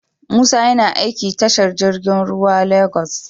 Musa YAna aiki tashar jirgin ruwa lagos